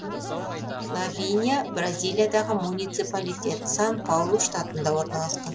лавиния бразилиядағы муниципалитет сан паулу штатында орналасқан